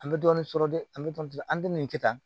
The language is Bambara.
An bɛ dɔɔnin sɔrɔ dɛ an bɛ dɔɔnin an bɛ nin kɛ tan